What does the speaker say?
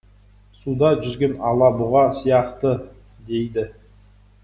суда жүзген алабұға сияқты дейді